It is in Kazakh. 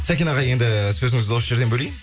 сәкен аға енді сөзіңізді осы жерден бөлейін